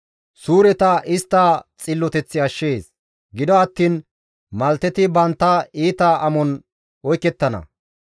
Suureta istta xilloteththi ashshees; gido attiin malteti bantta iita amon oykettana.